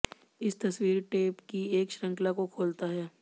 इस तस्वीर टेप की एक श्रृंखला को खोलता है